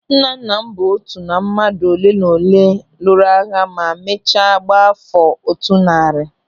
Nnanna m bụ otu na mmadụ oleenaolee lụrụ agha ma mechaa gbaa áfọ̀ otu narị